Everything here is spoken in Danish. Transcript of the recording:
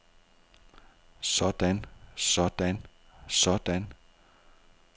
sådan sådan sådan